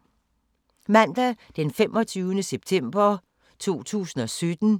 Mandag d. 25. september 2017